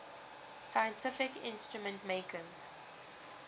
scientific instrument makers